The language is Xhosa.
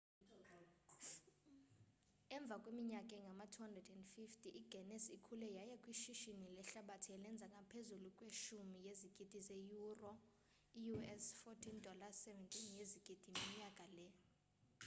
emva kweminyaka engama-250 iguinness ikhule yaya kwishishini lehlabathi elenza ngaphezulu kwe-10 yezigidi zeyuro i-us $ 14.7 yezigidi minyaka le